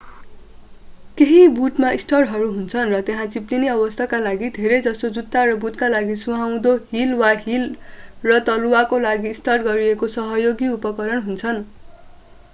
केही बुटमा स्टडहरू हुन्छन् र त्यहाँ चिप्लिने अवस्थाका लागि धेरैजसो जुत्ता र बुटका लागि सुहाउँदो हिल वा हिल र तलुवाका लागि स्टड गरिएको सहयोगी उपकरण हुन्छन्